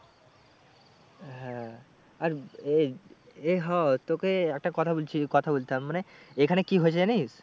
হ্যাঁ আর তোকে একটা কথা বলছি, কথা বলতাম মানে এখানে কি হয়েছে জানিস?